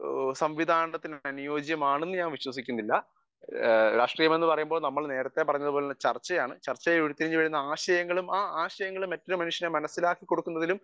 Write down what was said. speaker 1 അനുയോജ്യമാണെന്ന് ഞാൻ വിശ്വസിക്കുന്നില്ല രാഷ്ട്രീയം എന്ന് പറയുമ്പോൾ നമ്മൾ നേരെത്തെ പറഞ്ഞതുപോലെ ചർച്ചയാണ് ചർച്ചയിൽ ഉരുത്തിരിഞ്ഞു വരുന്ന ആശയങ്ങളും ആ ആശയങ്ങൾ മറ്റൊരു മനുഷ്യന് മനസ്സിലാക്കി കൊടുക്കുന്നതിലും